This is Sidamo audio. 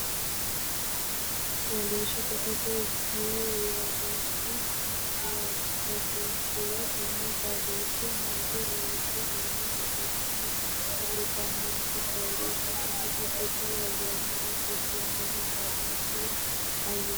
Fooliishsho sasete gid- worroonni rosiishshuwa tenne xadooshshu hayyo loosu aana hosiisate kaa’litannonke Fooliishsho sasete gid- worroonni rosiishshuwa tenne xadooshshu hayyo.